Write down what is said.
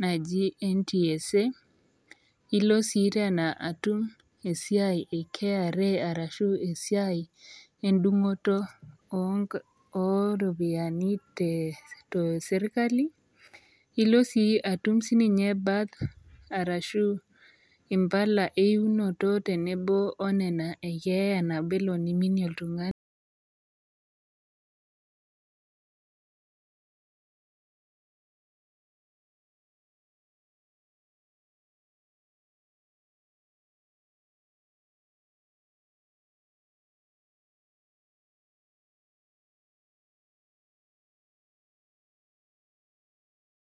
naaji NTSA, ilo sii tena atum esiai e kra arashu esiai endungoto ooropiyiani te sirkali, nilo sii atum sininye birth arashu impala eiinoto tenebo oniana ekeeya nabo naa niminie oltungani